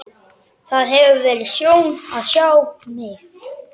Það hefur verið sjón að sjá mig.